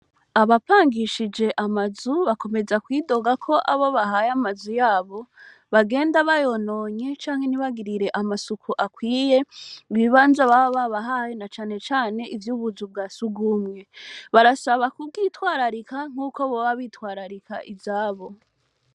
Abapangishije amazu bakomeza kwidoga KO abobahaye amazu yabo bagenda bayononye canke ntibagirire amasuku akwiye ibibanza baba babahaye, na cane cane ivy'ubuzu bwa sugumwe barasaba kubwitwararika nkuko boba bitwararika izabo.